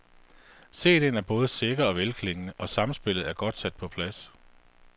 Cd'en er både sikker og velklingende, og samspillet er godt sat på plads.